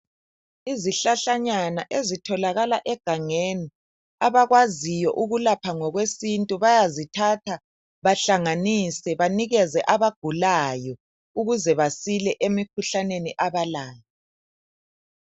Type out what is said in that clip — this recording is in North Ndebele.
Izihlahlanyana ezitholakala egangeni abakwaziyo ukulapha ngokwesintu bayazithatha bahlanganise banikeze abagulayo ukuze basile emikhuhlaneni abalayo